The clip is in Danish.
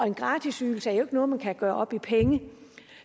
en gratis ydelse er jo ikke noget man kan gøre op i penge